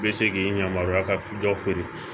I bɛ se k'i yamaruya ka dɔ feere